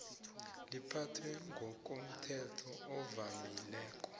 liphathwe ngokomthetho ovamileko